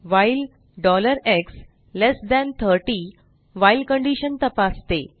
while x30 while condition तपासते